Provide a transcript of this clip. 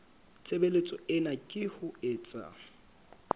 tshebeletso ena ke ho etsa